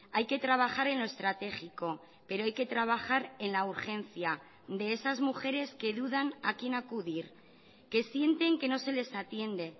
hay que trabajar en lo estratégico pero hay que trabajar en la urgencia de esas mujeres que dudan a quién acudir que sienten que no se les atiende